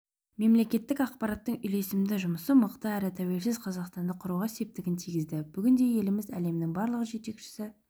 мемлекеттік аппараттың үйлесімді жұмысы мықты әрі тәуелсіз қазақстанды құруға септігін тигізді бүгінде еліміз әлемнің барлық жетекші